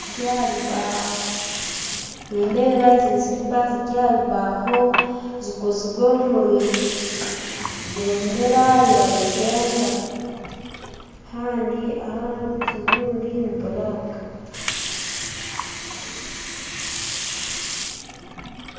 Nindeeba ezi ni siripa ziri aha rubaho zikozirwe omu bendera ya Uganda kandi ahandi ni buraaka